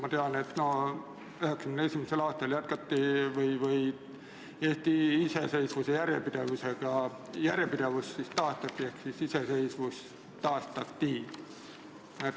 Ma tean, et 1991. aastal Eesti iseseisvuse järjepidevus taastati ehk iseseisvus taastati.